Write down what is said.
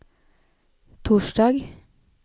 torsdag